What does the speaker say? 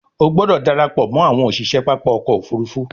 O gbódò darapọ mọ àwọn òṣiṣẹ pápá ọkọ̀-òfurufú!